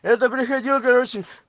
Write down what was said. это приходил короче